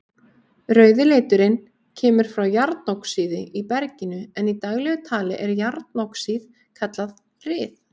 Rauði liturinn kemur frá járnoxíði í berginu en í daglegu tali er járnoxíð kallað ryð.